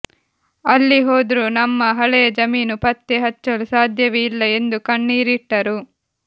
ಅಲ್ಲಿ ಹೋದ್ರು ನಮ್ಮ ಹಳೆಯ ಜಮೀನು ಪತ್ತೆ ಹಚ್ಚಲು ಸಾಧ್ಯವೇ ಇಲ್ಲ ಎಂದು ಕಣ್ಣೀರಿಟ್ಟರು